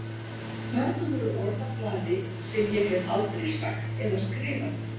Þarna voru orð á blaði sem ég hef aldrei sagt eða skrifað.